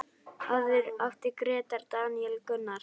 Áður átti Grétar, Daníel Gunnar.